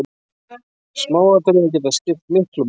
Smáatriði geta skipt miklu máli.